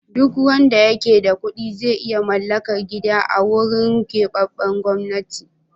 Duk wanda yake da kuɗi zai iya mallakar gida a wurin keɓaɓɓen gwamnati.